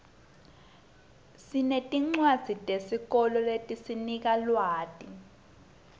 sinetincwadzi tesikolo letisinika lwati